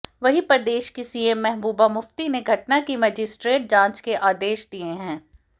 वहीं प्रदेश की सीएम महबूबा मुफ्ती ने घटना की मजिस्ट्रेट जांच के आदेश दिए हैं